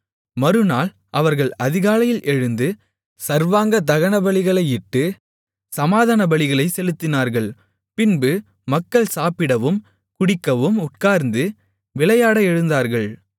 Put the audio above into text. மறுநாள் அவர்கள் அதிகாலையில் எழுந்து சர்வாங்கதகனபலிகளையிட்டு சமாதானபலிகளைச் செலுத்தினார்கள் பின்பு மக்கள் சாப்பிடவும் குடிக்கவும் உட்கார்ந்து விளையாட எழுந்தார்கள்